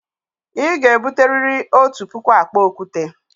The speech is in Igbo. Ị ga-ebute riri otu puku akpa okwute!